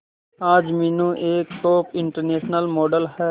आज मीनू एक top international model है